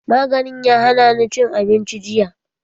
Maganin ya hanani cin abinci jiya